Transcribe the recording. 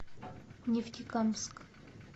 нефтекамск